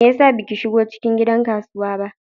Me yasa baki shigo cikin gidan kasuwa ba?